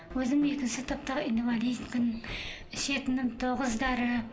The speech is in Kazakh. өзім екінші топтағы инвалидпін ішетінім тоғыз дәрі